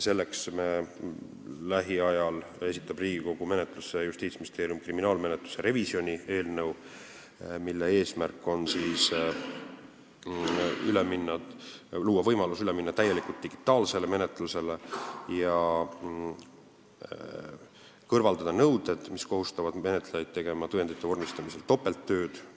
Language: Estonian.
Selleks esitab Justiitsministeerium lähiajal Riigikogu menetlusse kriminaalmenetluse revisjoni eelnõu, mille eesmärk on luua võimalus täielikult üle minna digitaalsele menetlusele ja kõrvaldada nõuded, mis kohustavad menetlejaid tegema tõendite vormistamisel topelttööd.